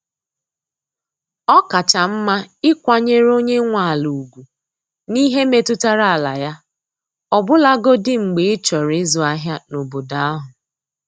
Ọ kacha mma ịkwanyere onye nwe ala ugwu n’ihe metụtara ala ya, ọbụlagodi mgbe ịchọrọ izu ahịa n’obodo ahụ.